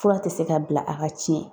Fura tɛ se ka bila a ka tiɲɛ